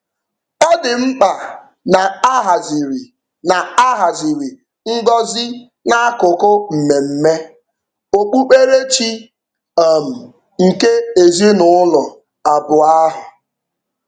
Ọ dị mkpa na a haziri na a haziri ngọzi n'akụkụ mmemme okpukperechi um nke ezinụụlọ abụọ ahụ.